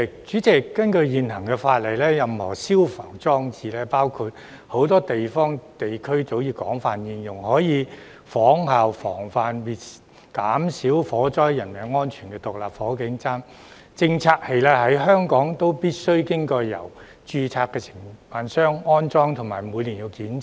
主席，根據現行法例，任何消防裝置，包括很多地方和地區早已廣泛應用並可以有效預防及減少火災造成的人命傷亡的獨立火警偵測器，在香港必須經由註冊承辦商安裝及每年檢查。